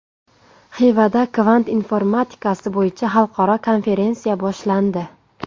Xivada kvant informatikasi bo‘yicha xalqaro konferensiya boshlandi.